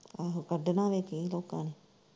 ਆਹੋ ਕੱਢਣਾ ਵੇਖੀ ਲੋਕਾਂ ਨੇ।